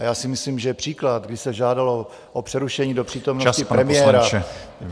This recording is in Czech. A já si myslím, že příklad, kdy se žádalo o přerušení do přítomnosti premiéra...